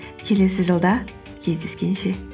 келесі жылда кездескенше